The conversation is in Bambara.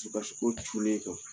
dusukasiko cunn'e kan